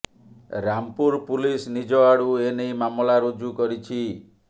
Rampur police ନିଜ ଆଡ଼ୁ ଏନେଇ ମାମଲା ରୁଜୁ କରିଛି